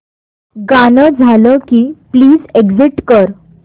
गाणं झालं की प्लीज एग्झिट कर